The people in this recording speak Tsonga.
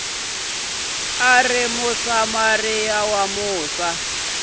a ri musamariya wa musa